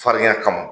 Farinya kama